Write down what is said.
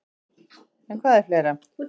En hvað er fleira?